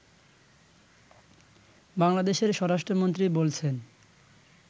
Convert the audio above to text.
বাংলাদেশের স্বরাষ্ট্রমন্ত্রী বলছেন